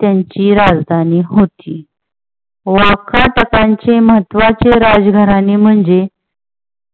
त्यांची राजधानी होती. वाकाटकांचे महत्वाचे राज घराणे म्हणजे